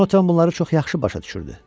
Conatan bunları çox yaxşı başa düşürdü.